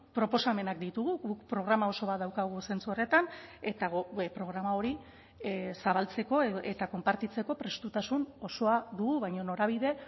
proposamenak ditugu guk programa oso bat daukagu zentzu horretan eta programa hori zabaltzeko eta konpartitzeko prestutasun osoa dugu baina norabide